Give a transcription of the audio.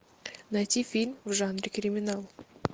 найти фильм в жанре криминал